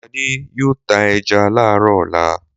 Adé yóò ta ẹja láàárọ̀ ọ̀la.